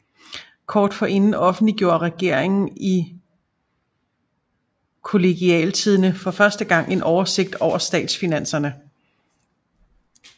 Kort forinden offentliggjorde regeringen i Kollegialtidende for første gang en oversigt over statsfinanserne